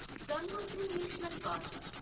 Gangotri national park